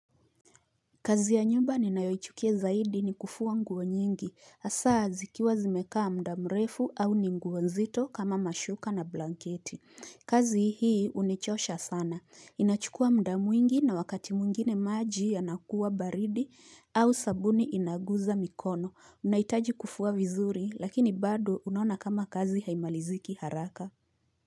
Kazi ya nyumba ninayoichukia zaidi ni kufua nguo nyingi. Asa zikiwa zimekaa mda mrefu au ni nguo nzito kama mashuka na blanketi. Kazi hii unichosha sana. Inachukua mdamwingi na wakati mwingine maji yanakuwa baridi au sabuni inaguza mikono. Unaitaji kufua vizuri lakini bado unaona kama kazi haimaliziki haraka.